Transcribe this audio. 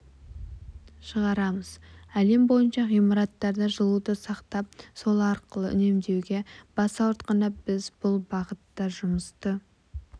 шығарамыз әлем бойынша ғимараттарда жылуды сақтап сол арқылы үнемдеуге бас ауыртқанда біз бұл бағытта жұмысты